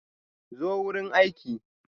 Zo wurin aiki.